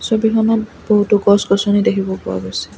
ছবিখনত বহুতো গছ-গছনি দেখিব পোৱা গৈছে।